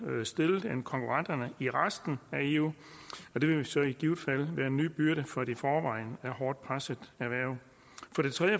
stillet end konkurrenterne i resten af eu og det vil så i givet fald være en ny byrde for et i forvejen hårdt presset erhverv